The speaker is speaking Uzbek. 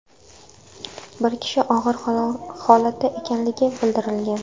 Bir kishi og‘ir holatda ekanligi bildirilgan.